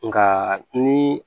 Nka ni